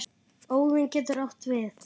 Óðinn getur átt við